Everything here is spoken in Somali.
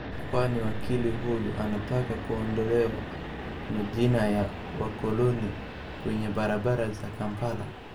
Kwanini wakili huyu anataka kuondolewe majina ya wakoloni kwenye barabara za Kampala?